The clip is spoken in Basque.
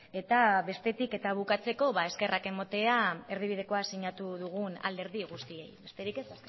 eta bestetik eta bukatzeko ba eskerrak ematea erdibidekoa sinatu dugun alderdi guztiei besterik ez